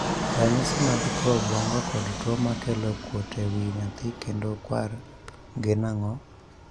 . Ranyisi mag tuo obwongo kod tuo makelo kuot e wii nyathi kendo kwar gin ang'o?